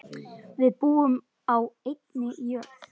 Við búum á einni jörð.